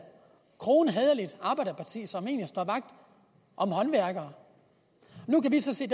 kronhæderligt arbejderparti som egentlig står vagt om håndværkere nu kan vi så se